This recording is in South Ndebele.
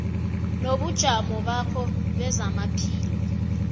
nobujamo bakho bezamaphilo